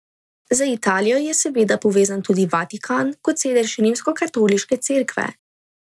Z Italijo je seveda povezan tudi Vatikan kot sedež Rimskokatoliške cerkve.